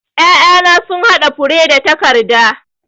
'Ya'yana sun haɗa fure da takarda.